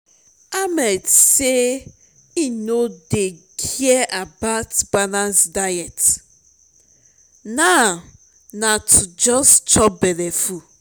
ahmed say im no dey care about balanced diet now na to just chop belleful